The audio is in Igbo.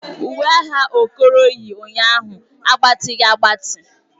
Uwe agha Okoro yi ụnyaahụ agbatighi agbati.